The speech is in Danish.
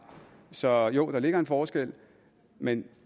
så jo der ligger en forskel men